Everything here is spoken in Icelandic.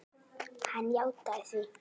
Hann játaði því.